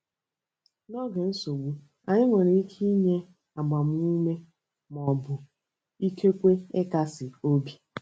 N'oge nsogbu, anyị nwekwara ike inye agbamume ma ọ bụ ikekwe ịkasi obi.